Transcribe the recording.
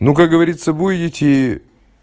ну как говорится будете